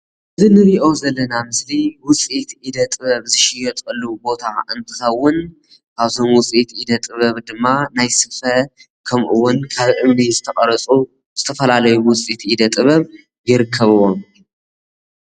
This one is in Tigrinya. እዚ ንሪኦ ዘለና ምስሊ ዉፅኢት ኢደ ጥበብ ዝሽወጠሉ ቦታ እንትኸዉን ከብዞም ዉፅኢት ኢደ ጥበብ ካብ እምኒ ዝተቀረፁ ዝተፈላለዩ ዉፅኢት ኢደ ጥበብ ይርከብዎ።